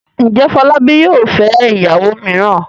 Ǹjẹ́ Fọlábí yóò fẹ́ ìyàwó mìíràn?